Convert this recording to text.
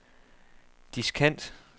diskant